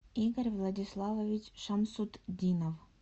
игорь владиславович шамсутдинов